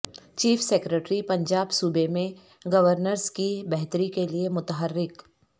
chief secretary Punjab صوبے میں governance کی بہتری کیلئے متحرک